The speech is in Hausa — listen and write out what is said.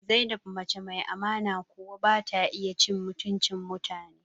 Zainab mace mai amana kuwa bata iya cin mutuncin mutane ba